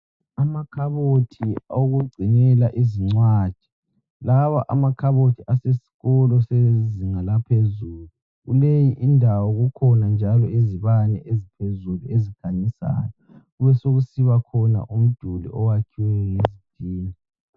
Amakhabothi owokugcinela izincwadi. Lawa makhabothi asesikolo sezinga laphezulu. Kuleyi indawo kukhona njalo izibane eziphezulu ezikhanyisayo. Besekusiba khona umdulu oyakhiweyo ngezitina.